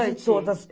Quase todas.